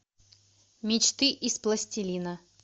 мечты из пластилина